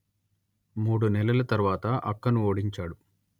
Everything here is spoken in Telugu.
మూడు నెలల తర్వాత అక్కను ఓడించాడు